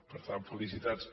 per tant felicitats